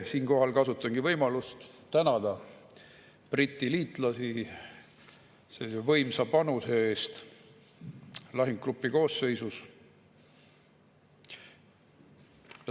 Siinkohal kasutangi võimalust tänada Briti liitlasi võimsa panuse eest lahingugrupi koosseisus.